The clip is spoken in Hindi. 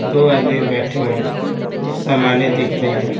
दो आदमी बैठे हुए हैं कुछ सामानें दिख रही हैं।